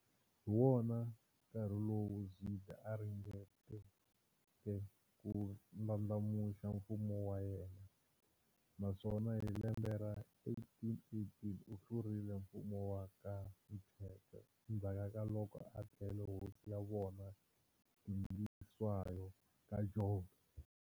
Hiwona nkarhi lowu Zwide a ringeteke ku ndlandlamuxa mfumo wa yena, naswona hi lembe ra 1818 u hlurile mfumo wa ka Mthethwa, endzhaku ka loko a dlele hosi ya vona Dingiswayo ka Jobe.